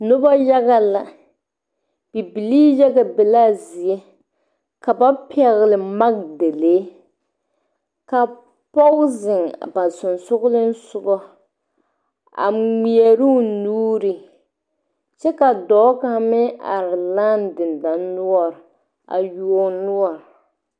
Nuba yaga la bibilii yaga be la a zie kaba pɛgli magdalee ka pɔg zeng ba sunsuuring sugu a ngmeɛruu nuuri kye ka doɔ kang meng arẽ langni denduri nuori a yuo ɔ nuori.